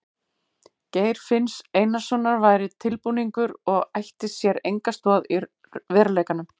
Geir finns Einarssonar væri tilbúningur og ætti sér enga stoð í veruleikanum.